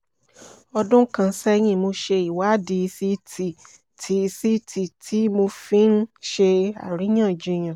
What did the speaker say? ọdún kan sẹ́yìn mo ṣe ìwádìí ct tí ct tí mo fi ń ṣe àríyànjiyàn